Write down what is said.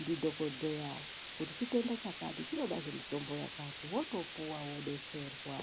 ndidhokodheya kuti chitenda chakati chinodazve mitombo yakati wotopuwa wodetserwa.